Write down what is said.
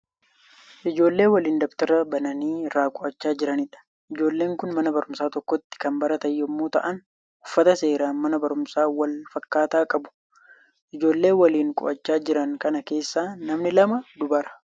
Ijoollee waliin dabtara bananii irraa qo'achaa jiraniidha. Ijoolleen kun mana barumsaa tokkotti kan baratan yemmuu ta'aan uffata seeraa mana barumsaa wal fakkaataa qabu. Ijoollee waliin qo'achaa jiran kana keessaa namni lama dubara.